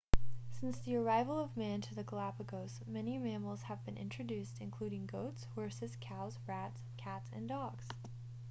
since the arrival of man to the galapagos many mammals have been introduced including goats horses cows rats cats and dogs